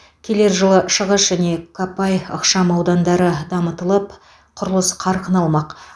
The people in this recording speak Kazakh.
келер жылы шығыс және копай ықшам аудандары дамытылып құрылыс қарқын алмақ